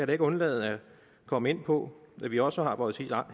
da ikke undlade at komme ind på at vi også har vores